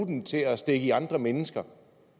den til at stikke i andre mennesker